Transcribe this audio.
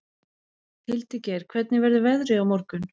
Hildigeir, hvernig verður veðrið á morgun?